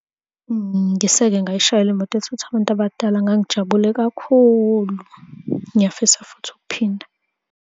Ngisake ngayishayela imoto ethutha abantu abadala, ngangijabule kakhulu, ngiyafisa futhi ukuphinda.